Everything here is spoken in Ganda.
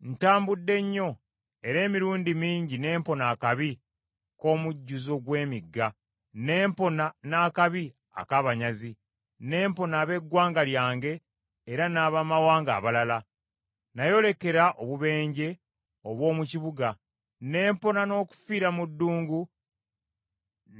Ntambudde nnyo, era emirundi mingi ne mpona akabi k’omujjuzo gw’emigga, ne mpona n’akabi ak’abanyazi, n’empona ab’eggwanga lyange, era n’Abamawanga abalala. Nayolekera obubenje obw’omu kibuga, ne mpona n’okufiira mu ddungu